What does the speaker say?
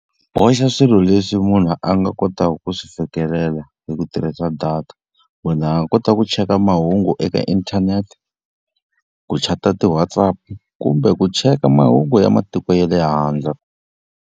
Boxa swilo leswi munhu a nga kotaka ku swi fikelela hi ku tirhisa data. Munhu a nga kota ku cheka mahungu eka inthanete, ku chat-a ti-WhatsApp-u, kumbe ku cheka mahungu ya matiko ya le handle.